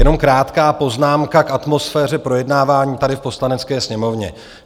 Jenom krátká poznámka k atmosféře projednávání tady v Poslanecké sněmovně.